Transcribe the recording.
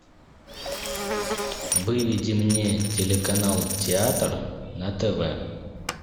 выведи мне телеканал театр на тв